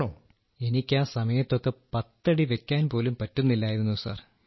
രാജേഷ് പ്രജാപതി എനിക്ക് ആ സമയത്തൊക്കെ പത്തടി വെയ്ക്കാൻ പോലും പറ്റുന്നില്ലായിരുന്നു സർ